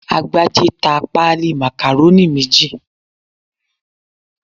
Agbájé ta pálí Macaroni méjì